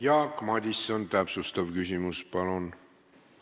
Jaak Madison, täpsustav küsimus, palun!